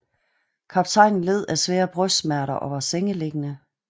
Kaptajnen led af stærke brystsmerter og var sengeliggende